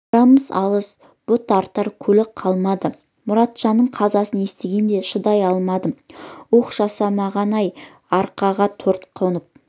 арамыз алыс бұт артар көлік қалмады мұратжанның қазасын естігенде шыдай алмадым уһ жасаған-ай араға төрт қонып